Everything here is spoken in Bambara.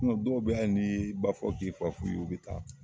Dɔw bɛ yen hali ni'i y'i ba fɔ ye k'i fa f'u ye u bɛ taa.